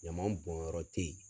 Ɲaman bɔn yɔrɔ tɛ ye.